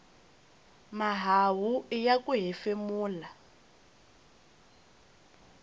mahawu iya ku hefemula